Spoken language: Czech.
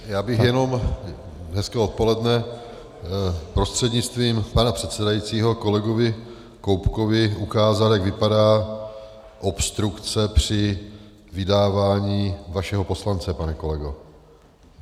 Já bych jenom - hezké odpoledne - prostřednictvím pana předsedajícího kolegovi Koubkovi ukázal, jak vypadá obstrukce při vydávání vašeho poslance, pane kolego.